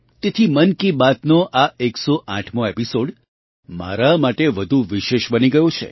તેથી મન કી બાતનો આ 108મો એપિસૉડ મારા માટે વધુ વિશેષ બની ગયો છે